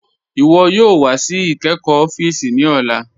Iwọ yoo wà sí ìkẹ́kọ́ òfíìsì ní ọ̀là.